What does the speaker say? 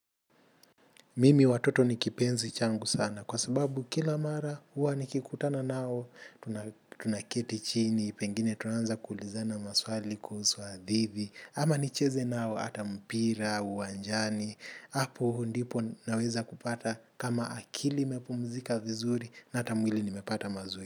Mimi watoto nikipenzi changu sana kwasababu kila mara huwa nikikutana nao tunaketi chini, pengine tunaanza kuulizana maswali kuhusu hadithi, ama nicheze nao hata mpira uwanjani. Hapo ndipo naweza kupata kama akili imepumzika vizuri na hata mwili nimepata mazuri.